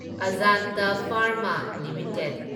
Ajanta pharma limited